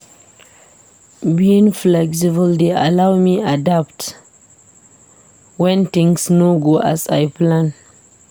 Being flexible dey allow me adapt when things no go as I plan.